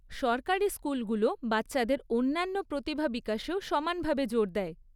সরকারি স্কুলগুলো বাচ্চাদের অন্যান্য প্রতিভা বিকাশেও সমানভাবে জোর দেয়।